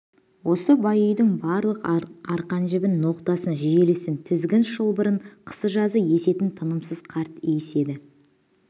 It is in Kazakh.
осы бай үйдің барлық арқан-жібін ноқтасын желісін тізгін-шылбырын қысы-жазы есетін тынымсыз қарт иіс еді